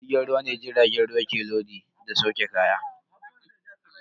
A tashar jirgin ruwa ne jiragen ruwa ke lodi da sauke kaya.